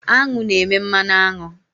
Aṅụ na-eme mmanụ aṅụ.